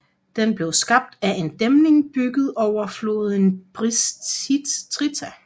Den blev skabt af en dæmning bygget over floden Bistrița